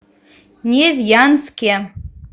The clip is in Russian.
невьянске